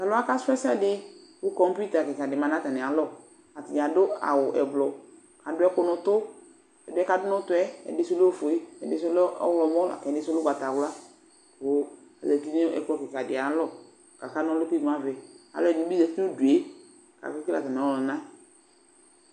T'alʋwa kasʋ ɛsɛdɩ: kʋ kɔmpita kɩka dɩ ma n'atamɩ alɔ ; atanɩ adʋ awʋ ʋblʋ Adʋ ɛkʋ n'ʋtʋ : ɛdɩɛ k'adʋ n'ʋtʋɛ , ɛdɩ sʋ lɛ ofue , ɛdɩ sʋ lɛ ɔɣlɔmɔ lak'ɛdɩ sʋ lɛ ʋgbatawla Kʋ azati nʋ ɛkplɔ kɩkadɩ ayalɔ k'aka n'ɔlʋ k'imu avɛ Alʋɛdɩnɩ bɩ zati n'udue k'ake kele atamɩɔlʋna